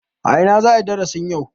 A ina za a yi darasin yau?